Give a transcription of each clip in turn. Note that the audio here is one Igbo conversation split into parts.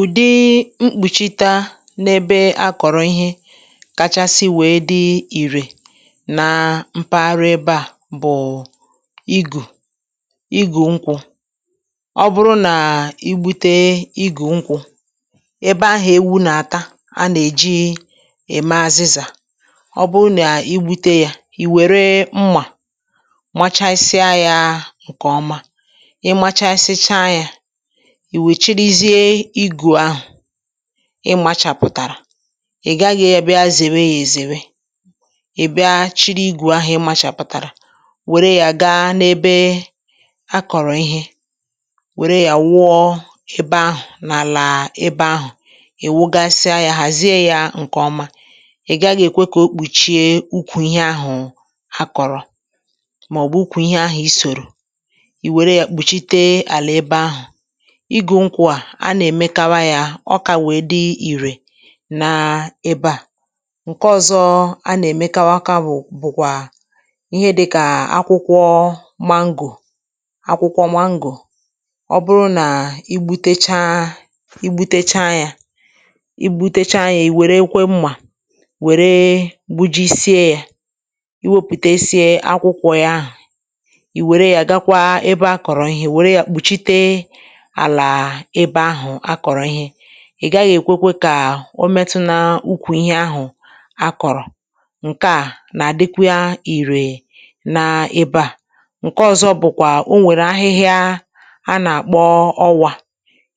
ùdị mkpùchita n’ebe a kọ̀rọ̀ ihe kachasị wee di ìrè na mkpaghara ebe a bụ̀ igù igù nkwū ọ bụrụ nà i gbute igù nkwū ebe ahụ̀ ewū nà-àta a nà-èji èmè azịzà ọ bụrụ nà igbute yā ì wère mmà machasịa ya ǹkè ọma ị machāsịcha yā ì wee chịrịzie igù ahụ̀ ị māchàpụ̀tàrà ị gaghị̄ abịa zèwe ya èzèwe ị̀ bịa chịrị igù ahụ̀ ịmāchàpụ̀tàrà wère ya gaa n’ebe ha kọ̀rọ̀ ihe wère ya wụọ ebe ahụ̀ n’àlà ebe ahụ̀ ị̀ wụgasịa ya ghàzie ya ǹkè ọma ị̀ gaghị̄ èkwe kà o kpùchie ukwù ihe ahụ̀ ha kọ̀rọ̀ màọbụ̀ ikwù ihe ahụ̄ i sòrò ì wère ya kpùchite àlà ebe ahụ̀ igù nkwu a a nà-èmekawa ya ọ kà wee di ìrè na ebe ǹke ọ̀zọ a nà-èmekawa bụ̀ bụ̀kwà ihe dịkà akwụkwọ mango akwụkwọ mango ọ bụrụ nà i gbūtecha i gbūtecha ya i gbūtecha ya ì wèrekwe mmà wère gbuji sịa yā i wepùtesie akwụkwọ ya ahụ̀ ì wère ya gaakwa ebe a kọ̀rọ̀ ihe wèrw kpùchite àlà ebe ahụ̀ akòrò ihe ịgaghị èkweke kà o metu na nkwu ihe ahụ̀ akọ̣̀rọ̀ ǹke a nà-àdịkwa ìrè n’ebe a ǹke ọ̀zọ bụ̀kwà o nwèrè ahịhịa a nà-àkpọ ọwā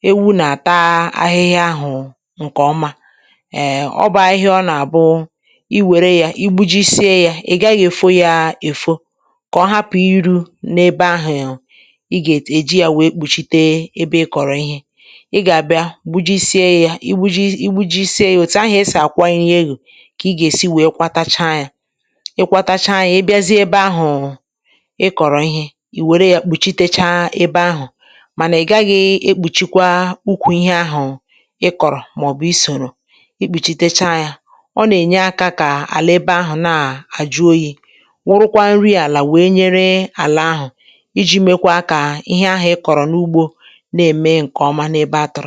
ewu nà-àta ahịhịa ahù ǹkè ọma ee ọ bụ ahịhịa ọ nà-àbụ i wère ya igbūjisie ya ị̀ gaghị̄ èfo ya èfo kà ọ hapụ irū n’ebe ahụ̀ ịgà èji ya wee kpùchite ebe ịkọ̀rọ ihe ịgà àbịa gbujisie yā igbūjisie òtù ahù esì akwanye ihe oloò kà ị gà-èsi wee kwatacha yā ị kwātacha ya ịbịazie ebe ahụ̀ ị kòrò ihe ì wère ya kpùchitecha ebe ahụ̀ mànà ị gaghị̄ ekpùchikwa ukwu ihe ahụ̀ ị kọ̀rọ̀ màọbụ̀ isòrò i kpùchitecha ya ọ nà-ènye aka kà àlà ebe ahụ̀ na-àjụ oyi wụrụkwa nri àlà wee nyere àlà ahụ̀ ijī meekwa kà ihe ahụ ịkọrọ n’ugbō na ème ǹkè ọma n’ebe atūrụ anya ya